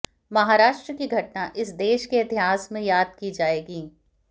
महाराष्ट्र की घटना इस देश के इतिहास में याद की जाएगी